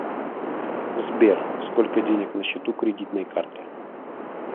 сбер сколько денег на счету кредитной карты